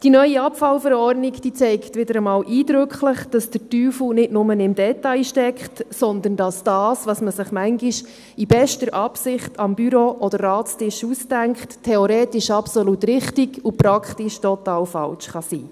Die neue VVEA zeigt wieder einmal eindrücklich, dass der Teufel nicht nur im Detail steckt, sondern dass das, was man sich manchmal in bester Absicht am Büro- oder Ratstisch ausdenkt, theoretisch absolut richtig, aber praktisch total falsch sein kann.